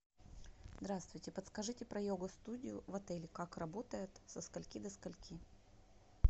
здравствуйте подскажите про йога студию в отеле как работает со скольки до скольки